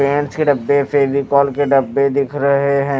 Pens के डब्बे फेविकोल के डब्बे दिख रहे हैं।